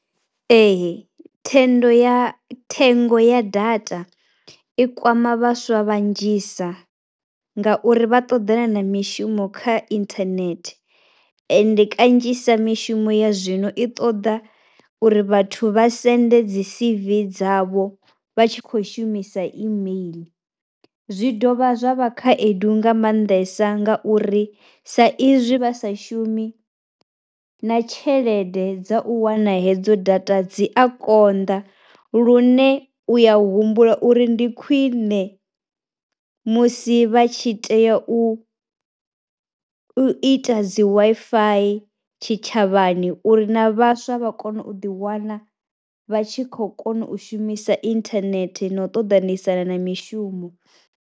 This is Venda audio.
Ee thendo ya, thengo ya data i kwama vhaswa vhanzhisa ngauri vha ṱoḓana na mishumo kha inthanethe ende kanzhisa mishumo ya zwino i ṱoḓa uri vhathu vha sendele dzi C_V dzavho vha tshi khou shumisa email. Zwi dovha zwa vha khaedu nga maanḓesa nga uri sa izwi vha sa shumi na tshelede dza u wana hedzo data dzi a konḓa lune u ya humbula uri ndi khwine musi vha tshi tea u, u ita dzi Wi-Fi tshitshavhani uri na vhaswa vha kone u ḓiwana vha tshi khou kona u shumisa inthanethe na u ṱoḓanisana na mishumo.